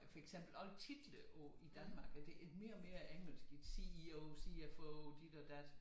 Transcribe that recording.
For eksempel alle titler på i Danmark at det er mere og mere engelsk i CEO CFO dit og dat